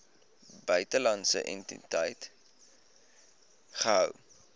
buitelandse entiteit gehou